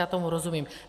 Já tomu rozumím.